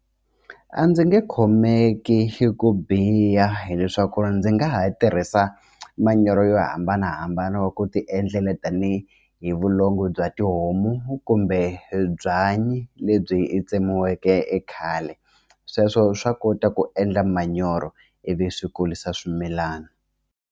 A ndzi nge khomeki ku biha hileswaku ndzi nga ha tirhisa manyoro yo hambanahambana wa ku ti endlela tanihi hi vulongo bya tihomu kumbe byanyi lebyi tsemiweke khale sweswo swa kota ku endla manyoro ivi swi kurisa swimilana.